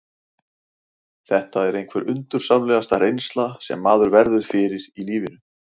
Þetta er einhver undursamlegasta reynsla sem maður verður fyrir í lífinu.